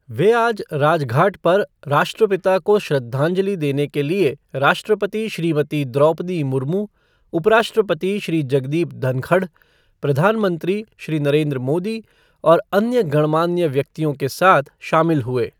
वह आज राजघाट पर राष्ट्रपिता को श्रद्धांजलि देने के लिए राष्ट्रपति श्रीमती द्रौपदी मुर्मु, उपराष्ट्रपति श्री जगदीप धनखड़, प्रधानमंत्री श्री नरेन्द्र मोदी और अन्य गणमान्य व्यक्तियों के साथ शामिल हुए।